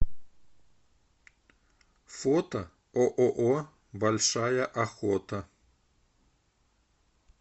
фото ооо большая охота